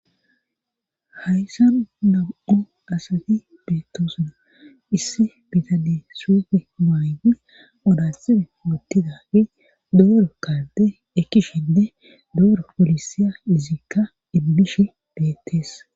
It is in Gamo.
hayssan damu7o asati beettosna issi bitane suufe maayi odatsine wottidagi duuro karde ekkishende duoro polisiya izikka ibbishi beettees